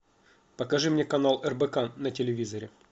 покажи мне канал рбк на телевизоре